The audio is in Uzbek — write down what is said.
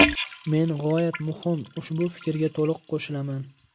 Men g‘oyat muhim ushbu fikrga to‘liq qo‘shilaman.